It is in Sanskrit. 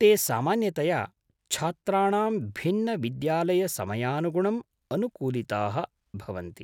ते सामान्यतया छात्राणां भिन्नविद्यालयसमयानुगुणम् अनुकूलिताः भवन्ति।